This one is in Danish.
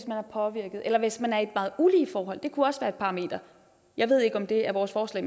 påvirket eller hvis man er i et meget ulige forhold det kunne også være et parameter jeg ved ikke om det er vores forslag